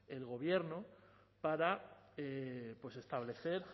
el gobierno para establecer